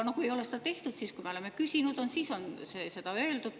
Kui ei ole seda tehtud ja me oleme küsinud, siis on seda öeldud.